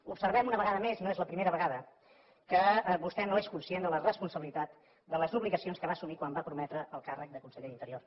observem una vegada més no és la primera vegada que vostè no és conscient de la responsabilitat de les obligacions que va assumir quan va prometre el càrrec de conseller d’interior